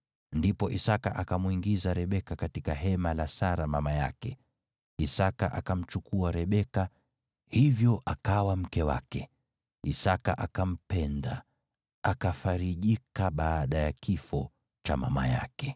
Ndipo Isaki akamwingiza Rebeka katika hema la Sara mama yake, Isaki akamchukua Rebeka, hivyo akawa mke wake. Isaki akampenda, akafarijika baada ya kifo cha mama yake.